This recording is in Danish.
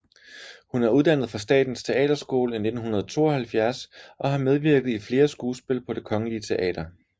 Hun er uddannet fra Statens Teaterskole i 1972 og har medvirket i flere skuespil på Det Kongelige Teater